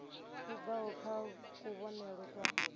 i bvaho kha kuvhonele kwa